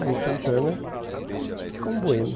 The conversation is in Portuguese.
Lá em Santana, ele ficou um boêmio.